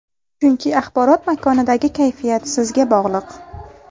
Chunki axborot makonidagi kayfiyat sizga bog‘liq.